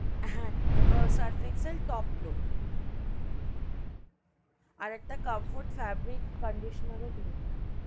হা Surf Excel top load আর একটা Comfort fabric conditioner ও দিয়ে দেবেন,